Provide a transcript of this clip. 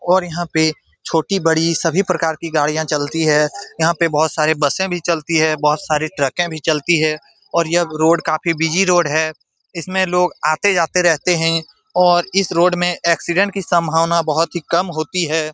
और यहां पे छोटी-बड़ी सभी प्रकार की गाड़ियां चलती है यहां पे बहुत सारे बसे भी चलती है बहोत सारे ट्रके भी चलती है और यह रोड काफी बिजी रोड है इस में लोग आते-जाते रहते हैं और इस रोड में एक्सीडेंट की संभावना बहुत ही कम होती है।